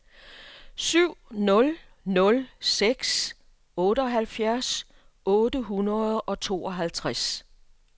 syv nul nul seks otteoghalvfjerds otte hundrede og tooghalvtreds